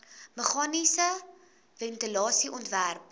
meganiese ventilasie ontwerp